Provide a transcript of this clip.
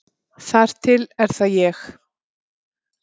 Þar til er það ég.